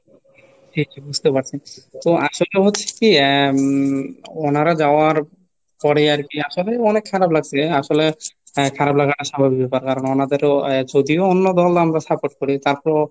জি, জি বুঝতে পারছি , তো আসলটা হচ্ছে কি আহ উম ওনারা যাওয়ার পরে আর কি আসামে অনেক খারাপ লাগছে আসলে আহ খারাপ লাগা স্বাভাবিক ব্যাপার কারণ আমাদেরও যদিও অন্য দল আমরা support করি তারপরও,